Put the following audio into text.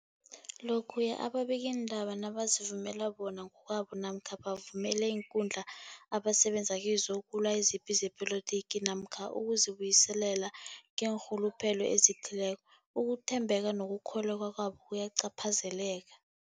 Lokhuya ababikiindaba nabazivumela bona ngokwabo namkha bavumele iinkundla abasebenza kizo ukulwa izipi zepolitiki namkha ukuzi buyiselela ngeenrhuluphelo ezithileko, ukuthembeka nokukholweka kwabo kuyacaphazeleka.